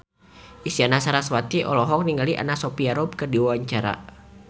Isyana Sarasvati olohok ningali Anna Sophia Robb keur diwawancara